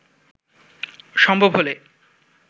সম্ভব হলে